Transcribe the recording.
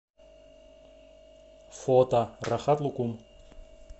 фото рахат лукум